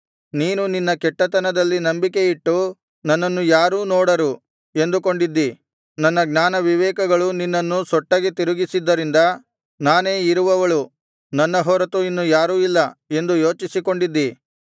ನೀನು ನಿನ್ನ ಕೆಟ್ಟತನದಲ್ಲಿ ನಂಬಿಕೆಯಿಟ್ಟು ನನ್ನನ್ನು ಯಾರೂ ನೋಡರು ಎಂದುಕೊಂಡಿದ್ದಿ ನನ್ನ ಜ್ಞಾನವಿವೇಕಗಳು ನಿನ್ನನ್ನು ಸೊಟ್ಟಗೆ ತಿರುಗಿಸಿದ್ದರಿಂದ ನಾನೇ ಇರುವವಳು ನನ್ನ ಹೊರತು ಇನ್ನು ಯಾರೂ ಇಲ್ಲ ಎಂದು ಯೋಚಿಸಿಕೊಂಡಿದ್ದಿ